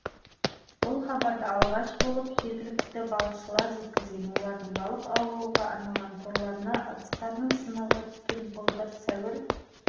бұл хабардыалғаш болып жергілікті балықшылар жеткізген олардың балық аулауға арналған торларына ыдыстардың сынығы түскен былтыр сәуір